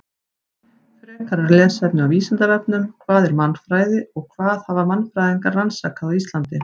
Frekara lesefni á Vísindavefnum: Hvað er mannfræði og hvað hafa mannfræðingar rannsakað á Íslandi?